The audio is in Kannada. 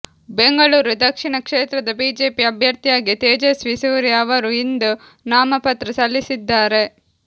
ಬೆಂಗಳೂರು ದಕ್ಷಿಣ ಕ್ಷೇತ್ರದ ಬಿಜೆಪಿ ಅಭ್ಯರ್ಥಿಯಾಗಿ ತೇಜಸ್ವಿ ಸೂರ್ಯ ಅವರು ಇಂದು ನಾಮಪತ್ರ ಸಲ್ಲಿಸಲಿದ್ದಾರೆ